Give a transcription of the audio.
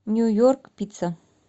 нью йорк пицца